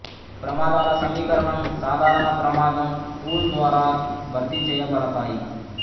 ప్రమాదాల సమీకరణం సాధారణ ప్రమాదం పూల్ ద్వారా భర్తీ చేయబడతాయి